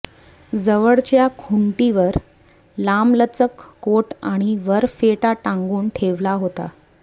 जवळच्या खुंटीवर लांबलचक कोट आणि वर फेटा टांगून ठेवला होता